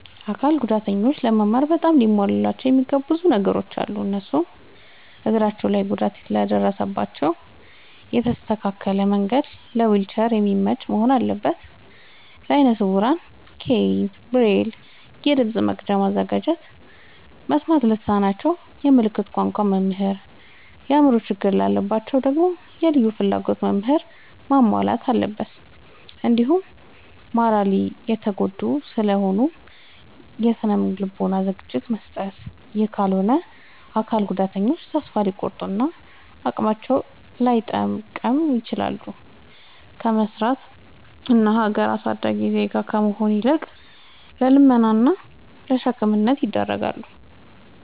አካል ጉዳተኞች ለመማር በጣም ሊሟሉላቸው የሚገቡ ብዙ ነገሮ አሉ። እነሱም፦ እግራቸው ላይ ጉዳት ለደረሰባቸው የተስተካከለ መንድ ለዊልቸር የሚመች መሆን አለበት። ለአይነ ስውራን ኬይን፣ ብሬል፤ የድምፅ መቅጃ ማዘጋጀት፤ መስማት ለተሳናቸው የምልክት ቋንቋ መምህር፤ የአእምሮ ችግር ላለባቸው ደግሞ የልዩ ፍላጎት ምህራንን ማሟላት አለብትን። እንዲሁም ማራሊ የተጎዱ ስለሆኑ የስነ ልቦና ዝግጅት መስጠት። ይህ ካልሆነ አካል ጉዳተኞች ተሰፋ ሊቆርጡ እና አቅማቸውን ላይጠቀሙ ይችላሉ። ከመስራት እና ሀገር አሳዳጊ ዜጋ ከመሆን ይልቅ ለልመና እና ለሸክምነት ይዳረጋሉ።